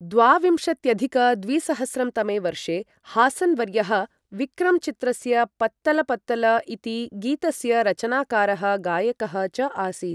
द्वाविंशत्यधिक द्विसहस्रं तमे वर्षे, हासन् वर्यः विक्रम् चित्रस्य पत्तल पत्तल इति गीतस्य रचनाकारः गायकः च आसीत्।